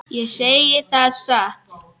Ég segi það satt.